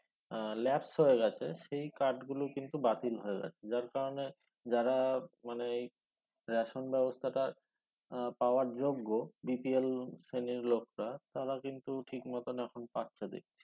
আহ lapse হয়ে গেছে সেই card গুলো কিন্তু বাতিল হয়ে গেছে যার কারনে যারা মানে এই ration ব্যবস্তাটা আহ পাওয়ার যোগ্য BPL শ্রেণীর লোকরা তারা কিন্তু ঠিকমত এখন পাচ্ছে দেখাছি